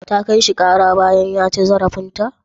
Ta kai shi ƙara bayan ya ci zarafinta?